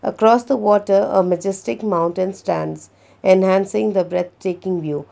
across the water a megistic mountain stands enhancing the breath taking view.